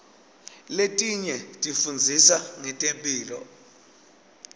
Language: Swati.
letinye tifundzisa ngetemphilo